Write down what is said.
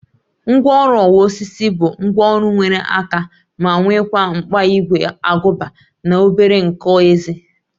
Ngwaọrụ ọwa osisi bụ ngwaọrụ nwere aka ma nwekwa mkpa ígwè agụba na obere nkọ ezé